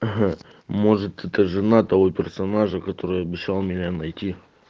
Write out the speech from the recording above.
ага может это жена того персонажа который обещал меня найти